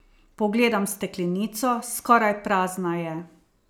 Pogledam steklenico, skoraj prazna je.